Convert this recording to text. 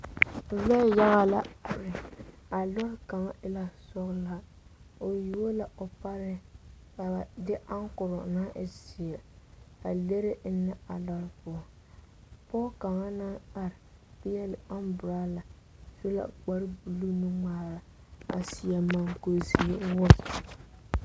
Lɔɛ yaga la are a lɔre kaŋ e la sɔglaa o yuo la o pare ka ba de ankoro naŋ e ziɛ a leri eŋe a lɔre poɔ pɔge kaŋa naŋ are pegle anburola o su la kpare buluu nu ŋmaare a seɛ moɔ kuri ziɛ.